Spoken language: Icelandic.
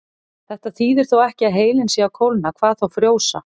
Þetta þýðir þó ekki að heilinn sé að kólna, hvað þá frjósa.